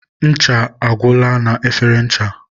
ncha ọ gwụla na efere ncha?